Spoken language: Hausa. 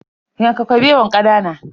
Yanka Kabewan kanana.